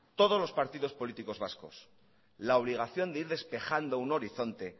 todos los partidos políticos vascos la obligación de ir despejando un horizonte